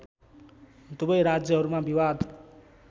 दुवै राज्यहरूमा विवाद